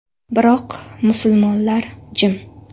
Biroq musulmonlar jim.